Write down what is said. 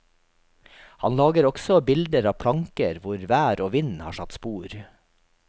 Han lager også bilder av planker hvor vær og vind har satt spor.